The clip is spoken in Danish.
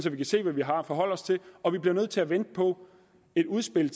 at vi kan se hvad vi har at forholde os til og vi bliver nødt til at vente på et udspil